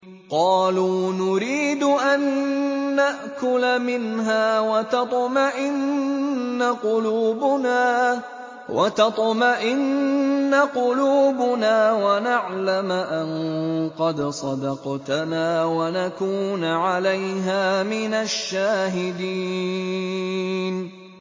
قَالُوا نُرِيدُ أَن نَّأْكُلَ مِنْهَا وَتَطْمَئِنَّ قُلُوبُنَا وَنَعْلَمَ أَن قَدْ صَدَقْتَنَا وَنَكُونَ عَلَيْهَا مِنَ الشَّاهِدِينَ